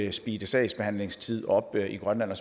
at speede sagsbehandlingstiden op i grønland